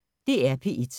DR P1